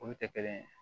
Olu tɛ kelen ye